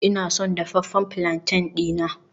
Ina son dafaffen palantin dina